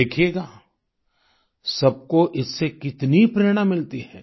देखिएगा सबको इससे कितनी प्रेरणा मिलती है